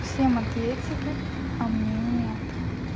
всем ответили а мне нет